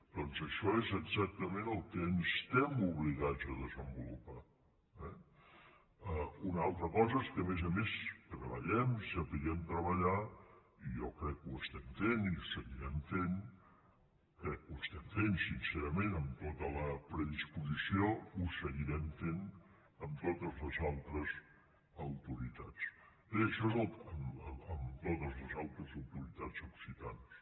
doncs això és exactament el que estem obligats a desenvolupar eh una altra cosa és que a més a més treballem i sapiguem treballar i jo crec que ho estem fent i ho seguirem fent i crec que ho estem fent sincerament amb tota la predisposició ho seguirem fent amb totes les altres autoritats occitanes